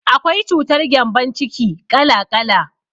Akwai cutar gembon ciki ƙala ƙala.